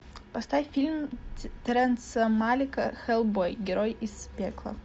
поставь фильм терренса малика хеллбой герой из пекла